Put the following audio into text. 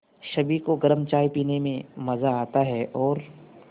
सभी को गरम चाय पीने में मज़ा आता है और